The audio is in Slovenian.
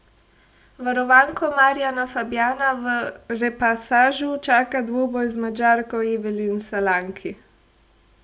Varovanko Marjana Fabjana v repasažu čaka dvoboj z Madžarko Evelin Salanki.